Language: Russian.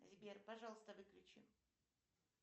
сбер пожалуйста выключи